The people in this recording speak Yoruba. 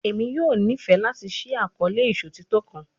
Emi yoo nifẹ lati ṣii akọọlẹ iṣotitọ kan